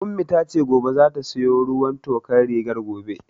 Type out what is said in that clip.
Ummi tace gobe zata siyo ruwan tokar rigar gobe